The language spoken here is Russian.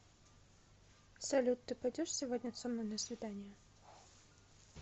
салют ты пойдешь сегодня со мной на свидание